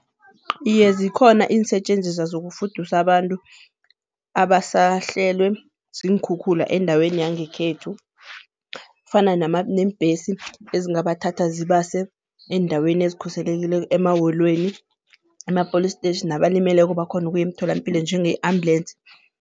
Iye zikhona iinsetjenziswa zokufudusa abantu abasahlelwe ziinkhukhula endaweni yangekhethu. Kufana neembhesi ezingabathatha zibase eendaweni ezikhuselekileko emaholweni, ema-police station nabalimeleko bakhone ukuya emtholampilo njenge-ambulensi.